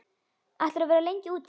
Ætlarðu að vera lengi úti?